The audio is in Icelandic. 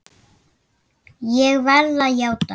Ég verð að játa það!